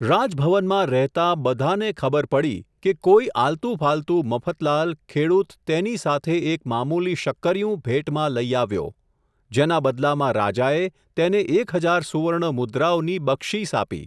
રાજભવનમાં રહેતા, બધાને ખબર પડી, કે કોઈ આલતુ ફાલતુ મફતલાલ, ખેડૂત તેની સાથે એક મામૂલી શક્કરિયું, ભેટમાં લઈ આવ્યો, જેના બદલામાં રાજાએ, તેને એક હજાર સુવર્ણ મુદ્રાઓની, બક્ષિસ આપી.